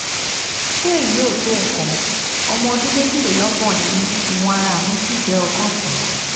ṣé èyí ò tó nǹkan? ọmọ ọdún méjìlélọ́gbọ̀n ni mí ìwọ̀n ara mi sì jẹ́ ọgọ́sàn-án